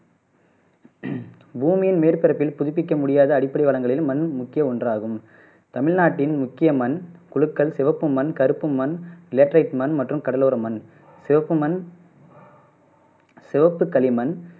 பூமியின் மேற்பறப்பில் புதுப்பிக்க முடியாத அடிப்படை வளங்களில் மண் முக்கிய ஒன்றாகும் தமிழ்நாட்டின் முக்கிய மண் புழுக்கள், சிவப்பு மண், கறுப்பு மண், லேட்டரைட் மண் மற்றும் கடலோர மண் சிவப்பு மN சிவப்பு களிமண்